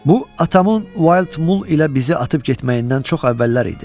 Bu atamın Wild Mool ilə bizi atıb getməyindən çox əvvəllər idi.